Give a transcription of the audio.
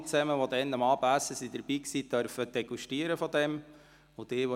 Alle, die am Abendessen dabei waren, durften dann diesen Käse degustieren.